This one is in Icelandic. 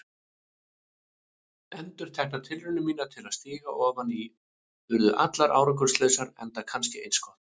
Endurteknar tilraunir mínar til að stíga ofan í urðu allar árangurslausar, enda kannski eins gott.